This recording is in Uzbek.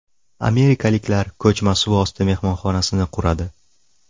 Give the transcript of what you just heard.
Amerikaliklar ko‘chma suvosti mehmonxonasini quradi.